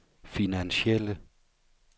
finansielle